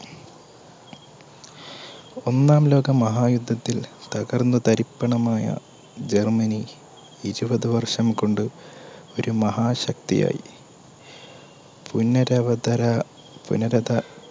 ഒന്നാം ലോകമഹായുദ്ധത്തിൽ തകർന്ന തരിപ്പണമായ ജർമ്മനി ഇരുപത് വർഷം കൊണ്ട് ഒരു മഹാശക്തിയായി പുനരധി